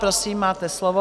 Prosím, máte slovo.